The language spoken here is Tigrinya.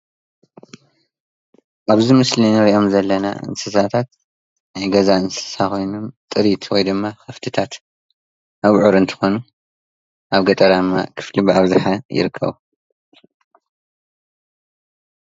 ኣብዚ ምስሊ እንሪኦም ዘለና እንስሳታት ናይ ገዛ እንስሳ ኮይኖም ጥሪት ወይ ድማ ከፍቲታት ኣብዑር እንትኾኑ ኣብ ገጠራም ክፍሊ ብኣብዝሓ ይርከቡ፡፡